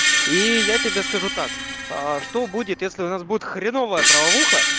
и я тебе скажу так что будет если у нас будет хреновая правовуха